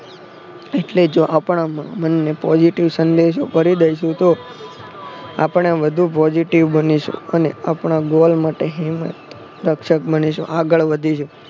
એટલે જો આપણા મનને positive સંદેશો કરી દઈશું તો આપણે વધુ positive બનીશું અને આપણા ગોલ માટે હિંમત રક્ષક બનીશું આગળ વધીશું.